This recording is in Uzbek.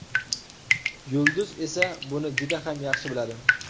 Yulduz esa buni juda ham yaxshi biladi.